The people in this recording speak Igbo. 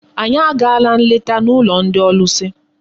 Anyị agaala nleta n'ụlọ ndị ọlụsị.